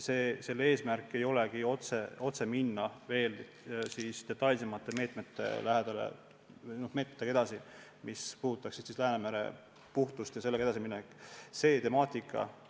Selle eesmärk ei ole otseselt edasi minna detailsemate meetmetega, mis puudutaksid Läänemere puhtust ja selles valdkonnas edasiminekut.